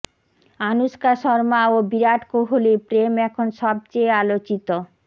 আনুশকা শর্মা ও বিরাট কোহলির প্রেম এখন সবচেয়ে আলোচিত